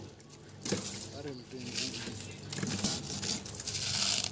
ha re mpeng re di